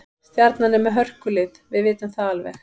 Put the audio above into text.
Stjarnan er með hörkulið, við vitum það alveg.